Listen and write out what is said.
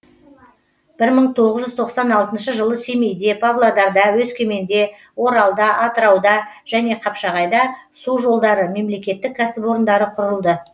бір мың тоғыз жүз тоқсан алтыншы жылы семейде павлодарда өскеменде оралда атырауда және қапшағайда су жолдары мемлекеттік кәсіпорындары құрылды